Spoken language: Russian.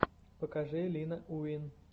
покажи лина уин